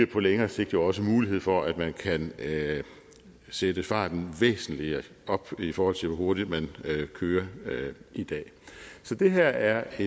på længere sigt også mulighed for at man kan sætte farten væsentlig op i forhold til hvor hurtigt man kører i dag så det her er